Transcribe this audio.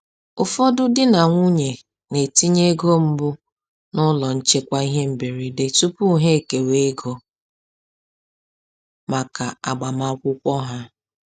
Ụfọdụ di na nwunye na-etinye ego mbụ n’ụlọ nchekwa ihe mberede tupu ha ekewa ego maka agbamakwụkwọ ha.